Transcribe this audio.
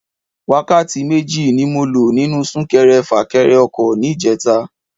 Wákàtí méjì ni mo lo nínú Sún-kẹrẹ-fà-kẹrẹ ọkọ̀ ní ìjeta